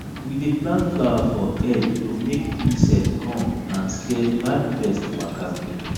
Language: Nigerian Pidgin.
we dey plant flower for edge to make insect come and scare bad pest waka go